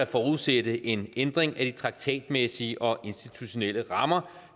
forudsætte en ændring af de traktatmæssige og institutionelle rammer